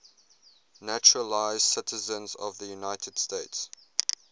naturalized citizens of the united states